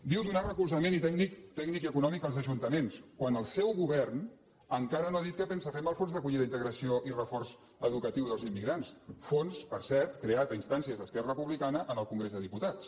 diu donar recolzament tècnic i econòmic als ajunta·ments quan el seu govern encara no ha dit què pensa fer amb els fons d’acollida integració i reforç educatiu dels immigrants fons per cert creat a instàncies d’es·querra republicana en el congrés dels diputats